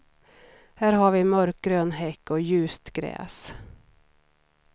Här har vi en mörkgrön häck och ljust gräs.